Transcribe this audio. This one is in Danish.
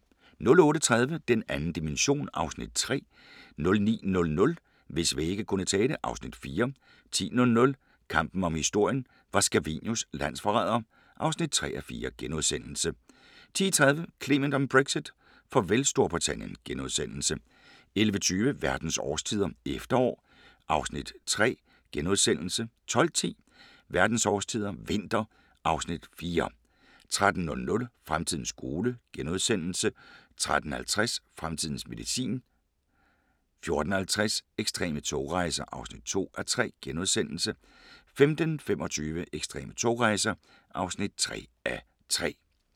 08:30: Den 2. dimension (Afs. 3) 09:00: Hvis vægge kunne tale (Afs. 4) 10:00: Kampen om historien – var Scavenius landsforræder? (3:4)* 10:30: Clement om Brexit: Farvel til Storbritannien * 11:20: Verdens årstider – efterår (Afs. 3)* 12:10: Verdens årstider – vinter (Afs. 4) 13:00: Fremtidens skole * 13:50: Fremtidens medicin 14:40: Ekstreme togrejser (2:3)* 15:25: Ekstreme togrejser (3:3)